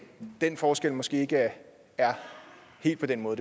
den forskel måske ikke er helt på den måde